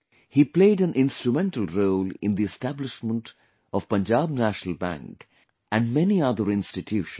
He played an instrumental role in the establishment of Punjab National Bank and many other institutions